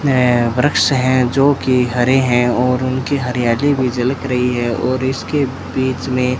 सामने वृक्ष है जो की हरे है और उनकी हरियाली भी झलक रही है और इसके बीच मे --